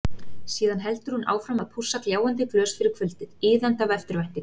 Síðan heldur hún áfram að pússa gljáandi glös fyrir kvöldið, iðandi af eftirvæntingu.